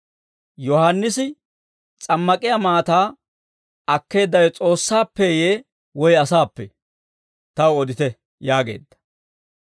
Yohaannisi s'ammak'iyaa maataa akkeeddawe S'oossaappeeyye woy asaappee? Taw odite» yaageedda.